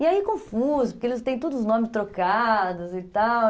E aí, confuso, porque eles têm todos os nomes trocados e tal.